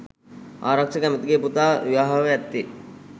අරක්ෂක ඇමතිගේ පුතා විවාහව ඇත්තේ